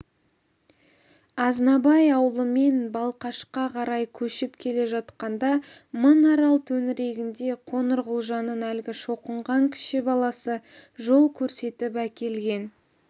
азнабай аулымен балқашқа қарай көшіп келе жатқанда мың арал төңірегінде қоңырқұлжаның әлгі шоқынған кіші баласы жол көрсетіп әкелген